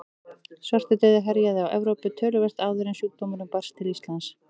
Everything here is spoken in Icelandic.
Svartidauði herjaði á Evrópu töluvert áður en sjúkdómurinn barst til Íslands.